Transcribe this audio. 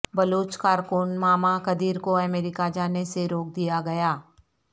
بلوچ کارکن ماما قدیر کو امریکہ جانے سے روک دیا گیا